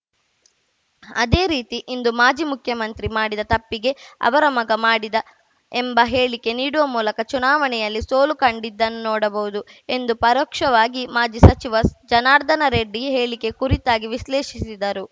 ಅದೇ ರೀತಿ ಇಂದು ಮಾಜಿ ಮುಖ್ಯಮಂತ್ರಿ ಮಾಡಿದ ತಪ್ಪಿಗೆ ಅವರ ಮಗ ಮಾಡಿದ ಎಂಬ ಹೇಳಿಕೆ ನೀಡುವ ಮೂಲಕ ಚುನಾವಣೆಯಲ್ಲಿ ಸೋಲು ಕಂಡಿದ್ದನ್ನು ನೋಡಬಹುದು ಎಂದು ಪರೋಕ್ಷವಾಗಿ ಮಾಜಿ ಸಚಿವ ಜನಾರ್ಧನ ರೆಡ್ಡಿ ಹೇಳಿಕೆ ಕುರಿತಾಗಿ ವಿಶ್ಲೇಷಿಸಿದರು